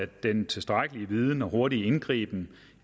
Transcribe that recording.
den tilstrækkelige viden og hurtige indgriben